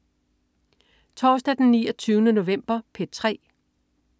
Torsdag den 29. november - P3: